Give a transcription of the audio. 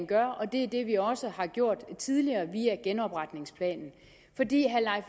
gør og det er det vi også har gjort tidligere via genopretningsplanen